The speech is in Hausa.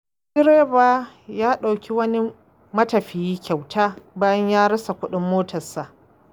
Wani direba ya dauki wani matafiyi kyauta bayan ya rasa kuɗin motarsa.